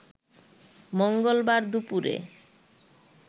মঙ্গলবার দুপুরে